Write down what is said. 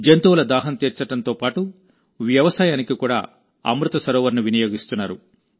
జంతువుల దాహం తీర్చడంతో పాటు వ్యవసాయానికి కూడాఅమృత సరోవర్ను వినియోగిస్తున్నారు